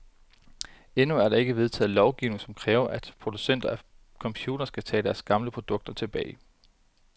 Endnu er der ikke vedtaget lovgivning, som kræver, at producenter af computere skal tage deres gamle produkter tilbage.